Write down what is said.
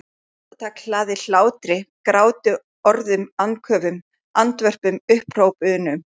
Hvert andartak hlaðið hlátri gráti orðum andköfum andvörpum upphrópunum.